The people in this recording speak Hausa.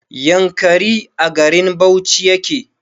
Yankari a garin bauchi yake